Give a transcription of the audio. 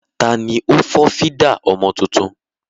Tani ó fọ́ fídà ọmọ tuntun?